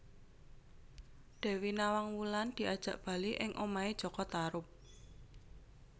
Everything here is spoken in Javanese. Dewi Nawang Wulan diajak bali ing omahé jaka Tarub